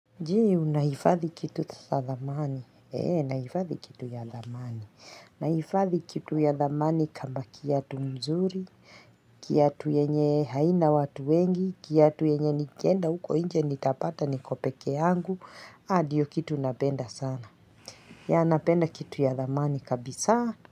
Je, unahifadhi kitu ya dhamani, naifadhi kitu ya dhamani kama kiatu mzuri, kiatu yenye haina watu wengi, kiatu yenye nikienda huko inje nitapata niko peke yangu, ndio kitu napenda sana, ya napenda kitu ya dhamani kabisaa.